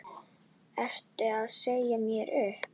Ertu að segja mér upp?